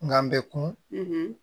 N gan bɛ kun